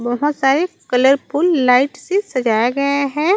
बहोत सारे colourful light से सजाया गया है।